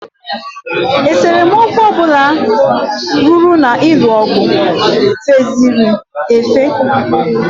Esemokwu ọbụla ruru na-ịlụ ọgụ feziri efe.